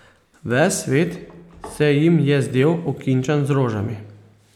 Ves svet se jim je zdel okinčan z rožami.